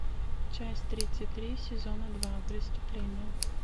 часть тридцать три сезона два преступление